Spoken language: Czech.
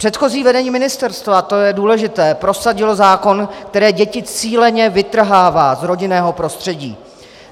Předchozí vedení ministerstva - to je důležité - prosadilo zákon, který děti cíleně vytrhává z rodinného prostředí.